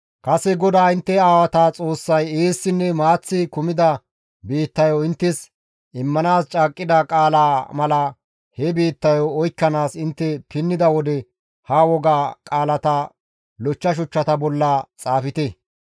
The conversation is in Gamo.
Kase GODAA intte aawata Xoossay eessinne maaththi kumida biittayo inttes immanaas caaqqida qaalaa mala he biittayo oykkanaas intte pinnida wode ha woga qaalata lochcha shuchchata bolla xaafte.